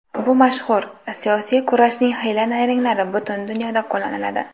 Bu mashhur... siyosiy kurashning hiyla-nayranglari butun dunyoda qo‘llaniladi.